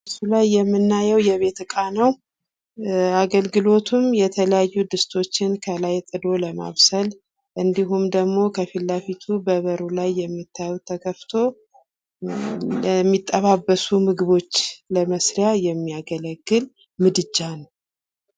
በምስሉ ላይ የምናየው የቤት እቃ ነው አገልግሎቱም የተለያዩ ድስቶቹን ከላይ ጥዶ ለማብሰል እንዲሁም ደግሞ ከፊት ለፊቱ በበሩ ላይ የምታዩት ተከፍቶ ለሚጠባበሱ ምግቦች ለመስሪያ የሚያገለግል ምድጃ ነው ።